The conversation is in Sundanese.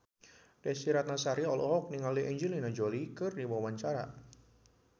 Desy Ratnasari olohok ningali Angelina Jolie keur diwawancara